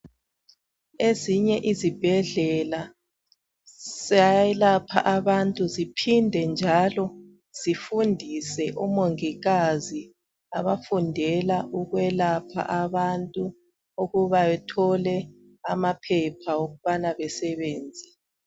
Ezinye izibhedlela ziyayelapha abantu ziphinde njalo zifundise omongikazi abafundela ukwelapha abantu ukuba bethole amaphepha okubana besenze.